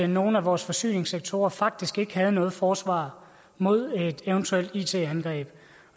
nogle af vores forsyningssektorer faktisk ikke havde noget forsvar mod et eventuelt it angreb